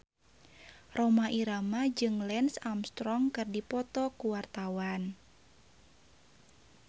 Rhoma Irama jeung Lance Armstrong keur dipoto ku wartawan